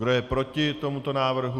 Kdo je proti tomuto návrhu?